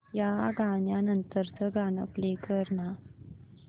या गाण्या नंतरचं गाणं प्ले कर ना